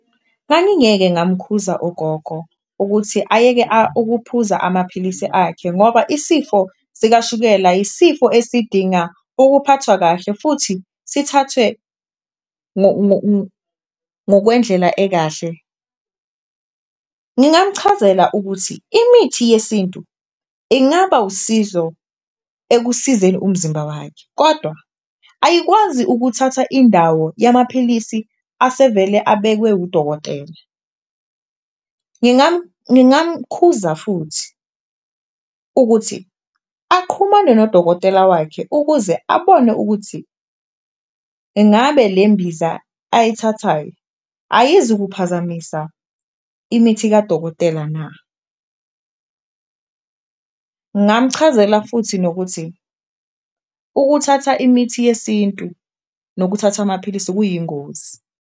Ngangingeke ngamkhuthaza ugogo ukuthi ayeke ukuphuza amaphilisi akhe ngoba isifo sikashukela isifo esidinga ukuphathwa kahle, futhi sithathwe ngokwendlela ekahle. Ngingamchazela ukuthi imithi yesintu ingaba usizo ekusizeni umzimba wakhe kodwa ayikwazi ukuthatha indawo yamaphilisi asevele abekwe wudokotela. Ngingamkhuza futhi ukuthi aqhumane nodokotela wakhe ukuze abone ukuthi engabe le mbiza ayithathayo ayizukuphazamisa imithi kadokotela na. Ngamchazela futhi nokuthi ukuthatha imithi yesintu nokuthatha amaphilisi kuyingozi.